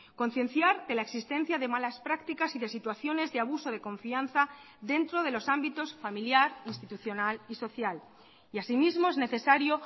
concienciar que la existencia de malas prácticas y de situaciones de abuso de confianza dentro de los ámbitos familiar institucional y social y así mismo es necesario